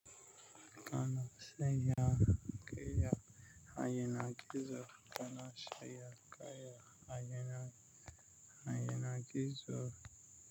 Kana sanya giya a yanar gizo. Kana sanya kaya a yanar, a yanar gizo.